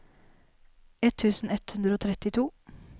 ett tusen ett hundre og trettito